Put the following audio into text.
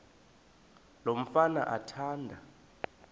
lo mfana athanda